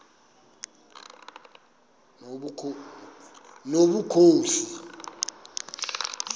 nobukhosi